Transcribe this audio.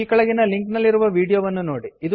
ಈ ಕೆಳಗಿನ ಲಿಂಕ್ ನಲ್ಲಿರುವ ವೀಡಿಯೋ ವನ್ನುನೋಡಿ